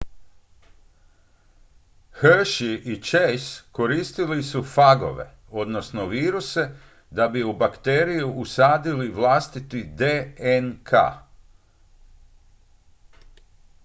hershey i chase koristili su fagove odnosno viruse da bi u bakteriju usadili vlastiti dnk